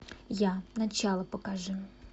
я начало покажи